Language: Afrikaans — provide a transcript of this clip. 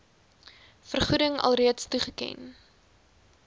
vergoeding alreeds toegeken